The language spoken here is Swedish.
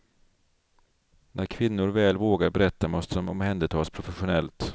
När kvinnor väl vågar berätta måste de omhändertas professionellt.